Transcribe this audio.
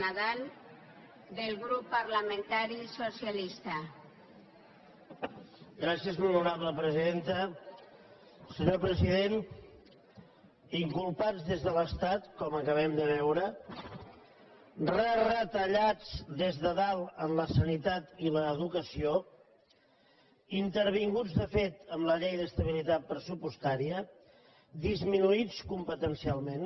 senyor president inculpats des de l’estat com acabem de veure reretallats des de dalt en la sanitat i l’educació intervinguts de fet amb la llei d’estabilitat pressupostària disminuïts competencialment